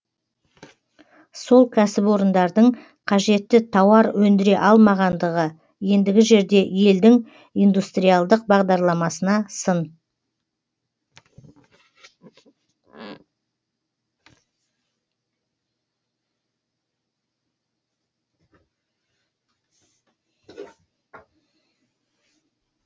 сол кәсіпорындардың қажетті тауар өндіре алмағандығы ендігі жерде елдің индустриалдық бағдарламасына сын